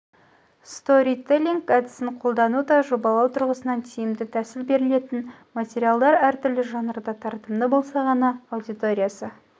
сторителлинг әдісін қолдану да жобалау тұрғысынан тиімді тәсіл берілетін материалдар әртүрлі жанрда тартымды болса ғана аудиториясы